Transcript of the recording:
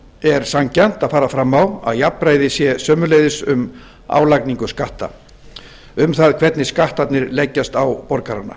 er sanngjarnt að fara fram á að jafnræði sé sömuleiðis um álagningu skatta um það hvernig skattarnir leggjast á borgarana